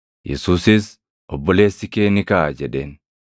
Yesuusis, “Obboleessi kee ni kaʼa” jedheen.